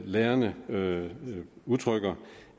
lærerne lærerne udtrykker